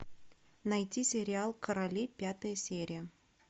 найти сериал короли пятая серия